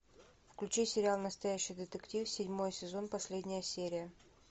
включи сериал настоящий детектив седьмой сезон последняя серия